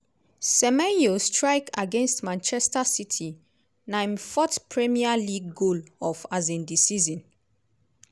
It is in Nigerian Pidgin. semenyo strike against manchester city - na im fourth premier league goal of um di season.